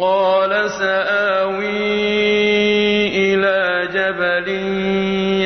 قَالَ سَآوِي إِلَىٰ جَبَلٍ